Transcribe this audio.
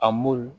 A m'olu